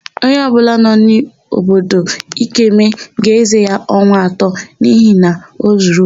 Onye ọbụla nọ n'obodo Ikeme ga-ézē ya ọnwa atọ n'ihi na o zuru ohi.